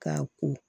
K'a ko